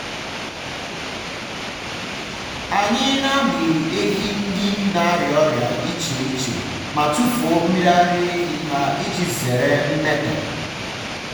anyị na-amị ehi ndị na-arịa ọrịa iche iche ma tufuo mmiri ara ehi ha iji zere mmetọ.